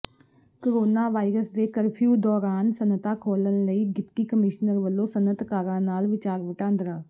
corona virus ਦੇ curfew ਦੌਰਾਨ ਸਨਅਤਾਂ ਖੋਲ੍ਹਣ ਲਈ ਡਿਪਟੀ ਕਮਿਸ਼ਨਰ ਵਲੋਂ ਸਨਅਤਕਾਰਾਂ ਨਾਲ ਵਿਚਾਰ ਵਟਾਂਦਰਾ